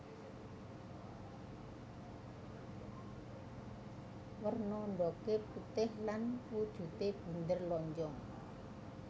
Werna ndhoge putih lan wujude bunder lonjong